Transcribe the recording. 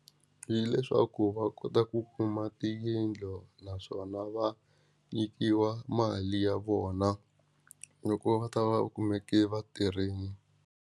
Hileswaku va kota ku kuma tiyindlu naswona va nyikiwa mali ya vona loko va ta va u kumeke va tirhini.